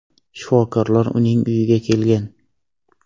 Shifokorlar uning uyiga kelgan.